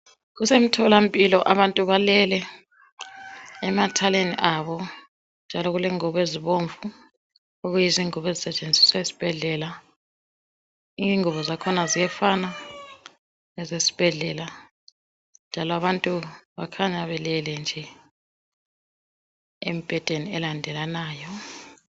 Kusemtholampilo abantu balele emathaleni abo njalo kulengubi ezibomvu okuyizingubo ezisetshenziswa esibhedlela. Ingubo zakhona ziyafana lezesibhedlela njalo abantu bakhanya belele nje embhedeni elandelanayo.